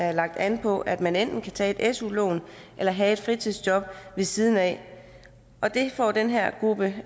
er lagt an på at man enten kan tage et su lån eller have et fritidsjob ved siden af og det får den her gruppe